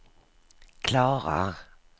klarar